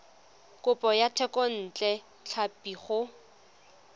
kopo ya thekontle tlhapi go